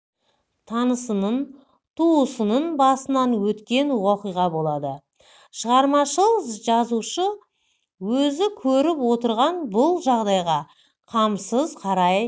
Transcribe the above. танысының туысының басынан өткен оқиға болады шығармашыл жазушы өзі көріп отырған бұл жағдайға қамсыз қарай